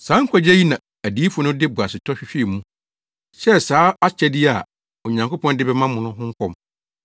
Saa nkwagye yi na adiyifo no de boasetɔ hwehwɛɛ mu, hyɛɛ saa akyɛde yi a Onyankopɔn de bɛma mo no ho nkɔm.